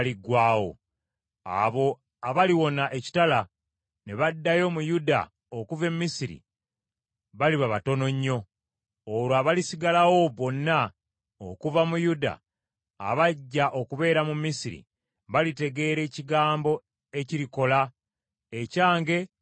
Abo abaliwona ekitala ne baddayo mu Yuda okuva e Misiri baliba batono nnyo. Olwo abalisigalawo bonna okuva mu Yuda abajja okubeera mu Misiri, balitegeera ekigambo ekirikola, ekyange oba ekyabwe.